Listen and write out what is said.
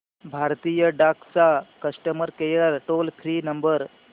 भारतीय डाक चा customer care toll free number